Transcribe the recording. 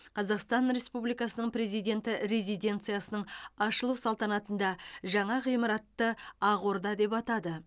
қазақстан республикасының президенті резиденцияның ашылу салтанатында жаңа ғимаратты ақ орда деп атады